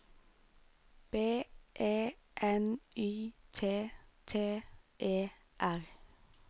B E N Y T T E R